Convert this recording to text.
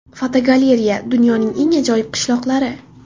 Fotogalereya: Dunyoning eng ajoyib qishloqlari.